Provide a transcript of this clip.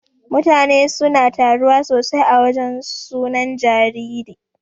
Mutane suna taruwa sosai a wajan sunan jariri.